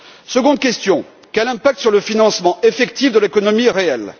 Seconde question quel impact sur le financement effectif de l'économie réelle?